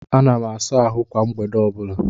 Ana m asa ahụ kwa mgbede ọbụla